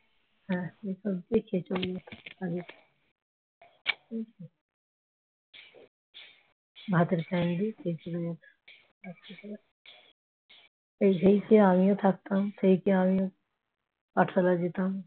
ভাতের ফ্যান দিয়ে খেয়ে চলে যেত। সেই খেয়ে আমিও থাকতাম সেই খেয়ে আমিও পাঠশালায় যেতাম